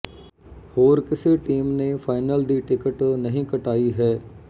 ਹੋਰ ਕਿਸੇ ਟੀਮ ਨੇ ਫਾਈਨਲ ਦੀ ਟਿਕਟ ਨਹੀਂ ਕਟਾਈ ਹੈ